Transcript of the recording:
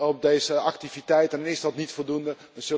op deze activiteiten, dan is dat niet voldoende.